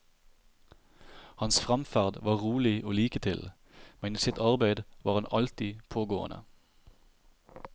Hans fremferd var rolig og liketil, men i sitt arbeid var han alltid pågående.